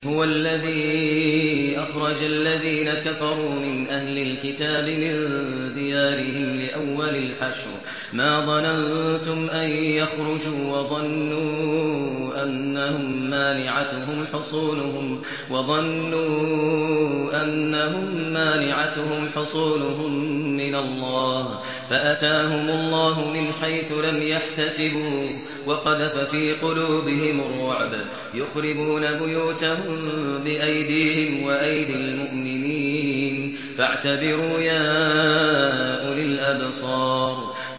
هُوَ الَّذِي أَخْرَجَ الَّذِينَ كَفَرُوا مِنْ أَهْلِ الْكِتَابِ مِن دِيَارِهِمْ لِأَوَّلِ الْحَشْرِ ۚ مَا ظَنَنتُمْ أَن يَخْرُجُوا ۖ وَظَنُّوا أَنَّهُم مَّانِعَتُهُمْ حُصُونُهُم مِّنَ اللَّهِ فَأَتَاهُمُ اللَّهُ مِنْ حَيْثُ لَمْ يَحْتَسِبُوا ۖ وَقَذَفَ فِي قُلُوبِهِمُ الرُّعْبَ ۚ يُخْرِبُونَ بُيُوتَهُم بِأَيْدِيهِمْ وَأَيْدِي الْمُؤْمِنِينَ فَاعْتَبِرُوا يَا أُولِي الْأَبْصَارِ